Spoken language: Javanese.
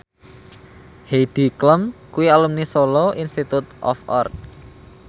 Heidi Klum kuwi alumni Solo Institute of Art